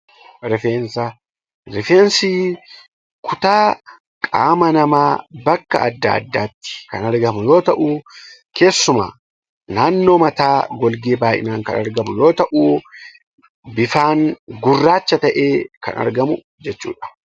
Rifeensi kutaa qaama namaa bakka adda addaatti kan argamu yoo ta'u, keessumaa naannoo mataa olitti baay'inaan kan argamu yoo ta'u, bifaan gurraacha ta'ee kan argamu jechuudha.